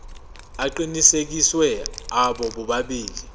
aqinisekisiwe abo bobabili